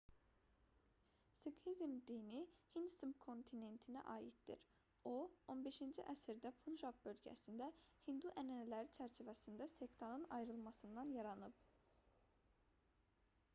siqhizm dini hind subkontinentinə aiddir o 15-ci əsrdə punjab bölgəsində hindu ənənələri çərçivəsində sektanın ayrılmasından yaranıb